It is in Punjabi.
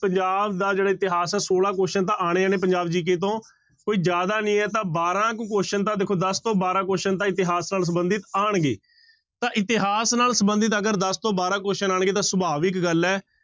ਪੰਜਾਬ ਦਾ ਜਿਹੜਾ ਇਤਿਹਾਸ ਹੈ ਛੋਲਾਂ question ਤਾਂ ਆਉਣੇ ਨੇ ਪੰਜਾਬ GK ਤੋਂ ਕੋਈ ਜ਼ਿਆਦਾ ਨੀ ਹੈ ਤਾਂ ਬਾਰਾਂ ਕੁ question ਤਾਂ ਦੇਖੋ ਦਸ ਤੋਂ ਬਾਰਾਂ question ਤਾਂ ਇਤਿਹਾਸ ਨਾਲ ਸੰਬੰਧਿਤ ਆਉਣਗੇ, ਤਾਂ ਇਤਿਹਾਸ ਨਾਲ ਸੰਬੰਧਿਤ ਅਗਰ ਦਸ ਤੋਂ ਬਾਰਾਂ question ਆਉਣਗੇ ਤਾਂ ਸੁਭਾਵਿਕ ਗੱਲ ਹੈ,